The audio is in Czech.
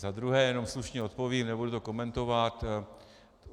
Za druhé, jenom slušně odpovím, nebudu to komentovat.